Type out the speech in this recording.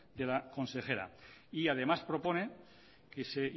de la consejera y además propone que se